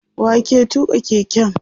wa ke tuka keken?